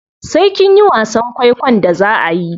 Sai kinyi wasan kwaikwon da zaa ayi.